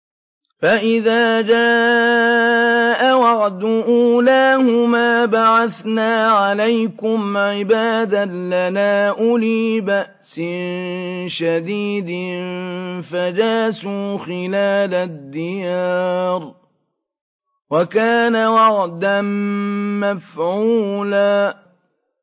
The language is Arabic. فَإِذَا جَاءَ وَعْدُ أُولَاهُمَا بَعَثْنَا عَلَيْكُمْ عِبَادًا لَّنَا أُولِي بَأْسٍ شَدِيدٍ فَجَاسُوا خِلَالَ الدِّيَارِ ۚ وَكَانَ وَعْدًا مَّفْعُولًا